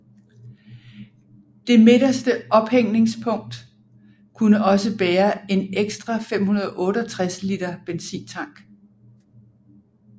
Det midterste ophængningspunkt kunne også bære en ekstra 568 liter benzintank